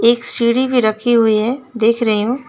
एक सीढी भी रखी हुई है देख रही हूं।